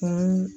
Kan